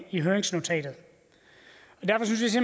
i høringsnotatet derfor synes